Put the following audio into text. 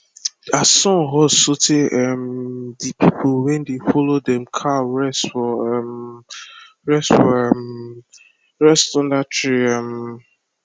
as sun hot so tey um the pple wey dey follow dem cow rest for um rest for um under tree um